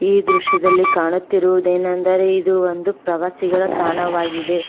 ಈ ದೃಶ್ಯದಲ್ಲಿ ಕಾಣುತ್ತಿರುವುದೇನೆಂದರೆ ಇದು ಒಂದು ಪ್ರವಾಸಿಗರ ತಾಣವಾಗಿದೆ.